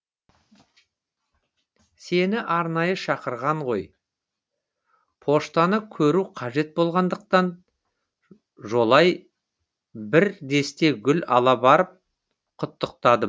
сені арнайы шақырған ғой поштаны көру қажет болғандықтан жолай бір десте гүл ала барып құттықтадым